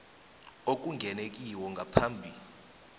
okungenwe kiwo ngaphambi